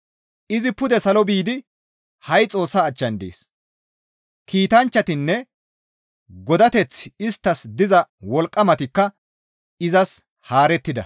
Izi pude salo biidi ha7i Xoossa achchan dees; kiitanchchatinne godateththi isttas diza wolqqamatikka izas haarettida.